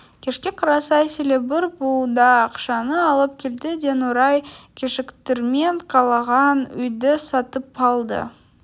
кешке қарай сейіл бір буда ақшаны алып келді де нұрай кешіктірмей қалаған үйді сатып алды